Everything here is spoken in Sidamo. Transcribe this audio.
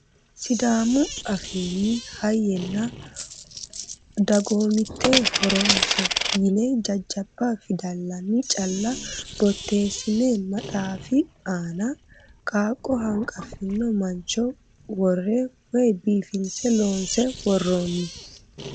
Sidaamu afiinni hayyenna dagoomitte horose yine jajjabba fidallanni calla boteessine maxaafi aana qaaqqo hanqaffino mancho worre woyi biifinse loonse worroonni.